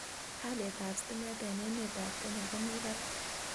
Haliet ab stimet en' emet ab Kenya komie barak